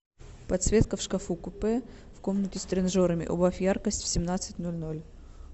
подсветка в шкафу купе в комнате с тренажерами убавь яркость в семнадцать ноль ноль